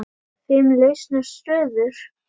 Fimm lausar stöður?